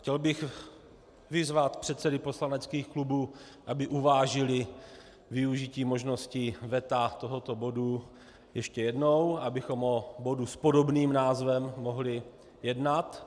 Chtěl bych vyzvat předsedy poslaneckých klubů, aby uvážili využití možnosti veta tohoto bodu ještě jednou, abychom o bodu s podobným názvem mohli jednat.